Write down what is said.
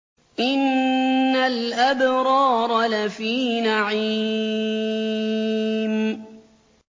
إِنَّ الْأَبْرَارَ لَفِي نَعِيمٍ